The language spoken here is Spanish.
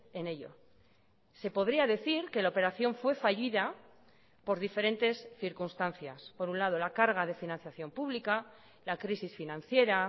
en ello se podría decir que la operación fue fallida por diferentes circunstancias por un lado la carga de financiación pública la crisis financiera